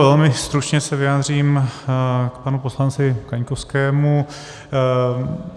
Velmi stručně se vyjádřím k panu poslanci Kaňkovskému.